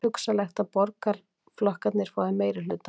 Hugsanlegt að borgaraflokkarnir fái meirihluta